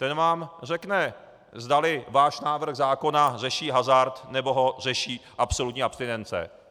Ten vám řekne, zdali váš návrh zákona řeší hazard, nebo ho řeší absolutní abstinence.